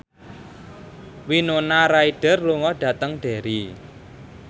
Winona Ryder lunga dhateng Derry